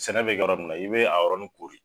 Sɛnɛ bɛ kɛ yɔrɔ mina i bɛ a yɔrɔnin kori.